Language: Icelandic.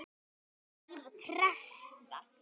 Lífið krefst þess.